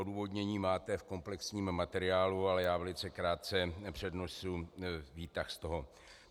Odůvodnění máte v komplexním materiálu, ale já velice krátce přednesu výtah z tohoto.